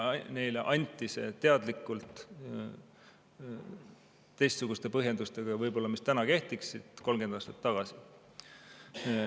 Neile anti see teadlikult, teistsuguste põhjendustega võib-olla, mis täna kehtiksid, 30 aastat tagasi.